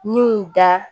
N y'u da